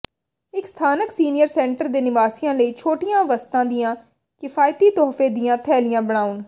ਇੱਕ ਸਥਾਨਕ senior centre ਦੇ ਨਿਵਾਸੀਆਂ ਲਈ ਛੋਟੀਆਂ ਵਸਤਾਂ ਦੀਆਂ ਕਿਫਾਇਤੀ ਤੋਹਫ਼ੇ ਦੀਆਂ ਥੈਲੀਆਂ ਬਣਾਉ